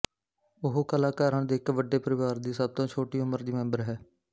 ਉਹ ਕਲਾਕਾਰਾਂ ਦੇ ਇੱਕ ਵੱਡੇ ਪਰਿਵਾਰ ਦੀ ਸਭ ਤੋਂ ਛੋਟੀ ਉਮਰ ਦੀ ਮੈਂਬਰ ਹੈ